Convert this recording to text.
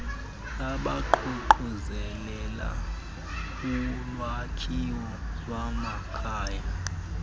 abaququzelela ulwakhiwo lwamakhaya